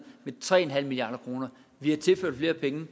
med tre milliard kroner vi har tilført flere penge